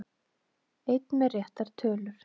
Einn með réttar tölur